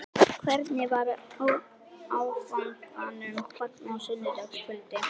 Hvernig var áfanganum fagnað á sunnudagskvöld?